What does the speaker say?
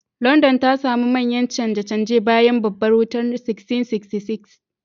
Landan ta sami manyan canje-canje bayan Babbar Wutar 1666.